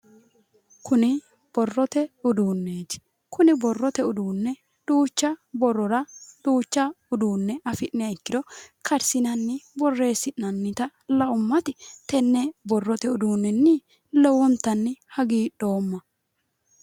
Kuni borrote udduunneti. Kuni borrote uduunne duucha borrora duucha afi'niha ikkiro karsinanni borreessinannita laummati tenne borrote uduunninni lowontanni hagiidhoomma.